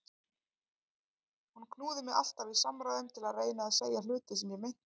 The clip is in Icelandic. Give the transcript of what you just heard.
Hún knúði mig alltaf í samræðum til að reyna að segja hluti sem ég meinti.